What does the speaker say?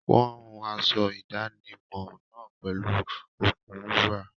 Wọ́n hun aṣọ ìdánimọ̀ náà pẹ̀lú okùn wúrà.